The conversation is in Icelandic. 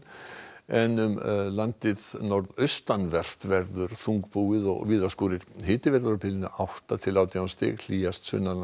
en um landið norðaustanvert verður þungbúið og víða skúrir hiti verður á bilinu átta til átján stig hlýjast